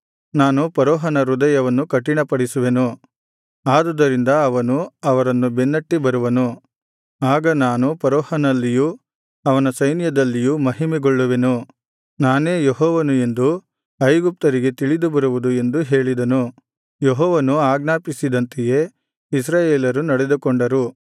ನಾನು ಫರೋಹನ ಹೃದಯವನ್ನು ಕಠಿಣಪಡಿಸುವೆನು ಆದುದರಿಂದ ಅವನು ಅವರನ್ನು ಬೆನ್ನಟ್ಟಿ ಬರುವನು ಆಗ ನಾನು ಫರೋಹನಲ್ಲಿಯೂ ಅವನ ಸೈನ್ಯದಲ್ಲಿಯೂ ಮಹಿಮೆಗೊಳ್ಳುವೆನು ನಾನೇ ಯೆಹೋವನು ಎಂದು ಐಗುಪ್ತ್ಯರಿಗೆ ತಿಳಿದು ಬರುವುದು ಎಂದು ಹೇಳಿದನು ಯೆಹೋವನು ಆಜ್ಞಾಪಿಸಿದಂತೆಯೇ ಇಸ್ರಾಯೇಲರು ನಡೆದುಕೊಂಡರು